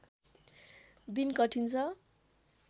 दिन कठीन छ